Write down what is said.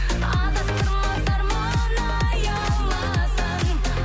адастырмас арман аяуласаң